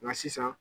Nka sisan